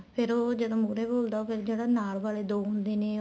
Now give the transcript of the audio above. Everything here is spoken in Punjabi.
ਫ਼ੇਰ ਉਹ ਜਦੋਂ ਮਹੁਰੇ ਬੋਲਦਾ ਉਹ ਫ਼ਿਰ ਜਿਹੜਾ ਨਾਲ ਵਾਲੇ ਜਿਹੜੇ ਦੋ ਹੁੰਦੇ ਨੇ